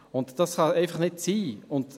Das kann einfach nicht sein.